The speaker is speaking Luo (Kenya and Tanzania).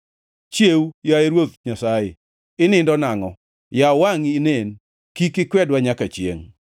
Chiew, yaye Ruoth Nyasaye! Inindo nangʼo? Yaw wangʼi inen! Kik ikwedwa nyaka chiengʼ.